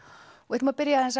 ætlum að byrja